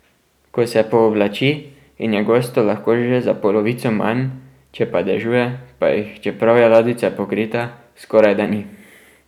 Ko se pooblači in je gostov lahko že za polovico manj, če pa dežuje pa jih, čeprav je ladjica pokrita, skorajda ni.